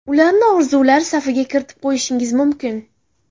Ularni orzular safiga kiritib qo‘yishingiz mumkin.